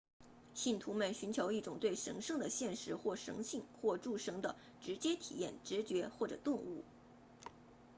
信徒们寻求一种对神圣的现实神性或诸神的直接体验直觉或者顿悟